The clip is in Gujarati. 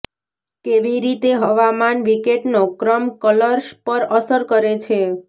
કેવી રીતે હવામાન વિકેટનો ક્રમ ઃ કલર્સ પર અસર કરે છે